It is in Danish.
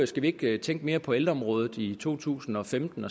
skal vi ikke tænke mere på ældreområdet i to tusind og femten